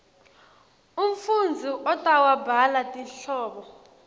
umfundzi utawubhala tinhlobo